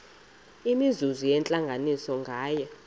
imizuzu yentlanganiso nganye